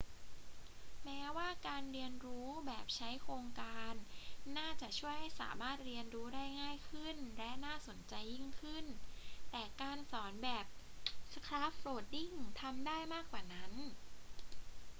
แม้ว่าการเรียนรู้แบบใช้โครงการน่าจะช่วยให้สามารถเรียนรู้ได้ง่ายขึ้นและน่าสนใจยิ่งขึ้น แต่การสอนแบบ scaffolding ทำได้มากกว่านั้น